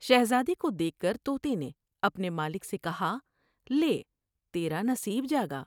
شہزادے کو دیکھ کر تو تے نے اپنے مالک سے کہا '' لے تیرا نصیب جا گا ۔